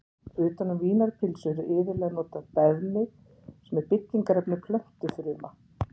Utan um vínarpylsur er iðulega notað beðmi sem er byggingarefni plöntufruma.